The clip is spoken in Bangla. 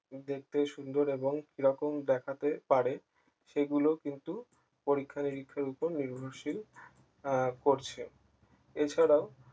দেখতে সুন্দর এবং কি রকম দেখাতে পারে সেগুলো কিন্তু পরীক্ষা নিরীক্ষার উপর নির্ভরশীল আহ পরছে এছাড়াও